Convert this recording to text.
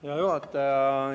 Hea juhataja!